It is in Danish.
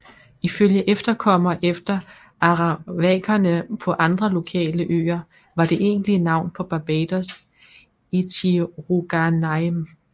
Ifølge efterkommerne efter arawakerne på andre lokale øer var det egentlige navn på Barbados Ichirouganaim